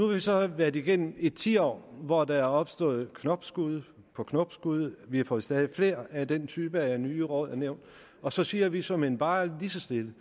vi så været igennem et tiår hvor der er opstået knopskud på knopskud vi har fået stadig flere af den type af nye råd og nævn og så siger vi såmænd bare lige så stille